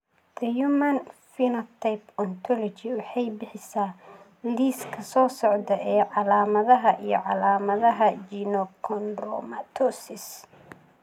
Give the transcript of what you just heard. The Human Phenotype Ontology waxay bixisaa liiska soo socda ee calaamadaha iyo calaamadaha Genochondromatosis.